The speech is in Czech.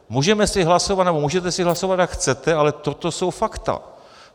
Můžeme si hlasovat, nebo můžete si hlasovat, jak chcete, ale toto jsou fakta.